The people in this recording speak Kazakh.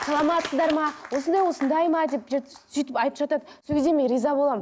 саламатсыздар ма осындай осындай ма деп сөйтіп айтып жатады сол кезде мен риза боламын